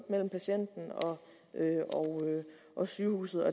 mellem patienten og sygehuset